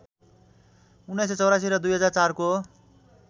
१९८४ र २००४ को